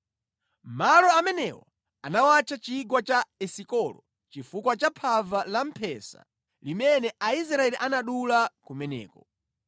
Malo amenewo anawatcha chigwa cha Esikolo chifukwa cha phava la mphesa limene Aisraeli anadula kumeneko.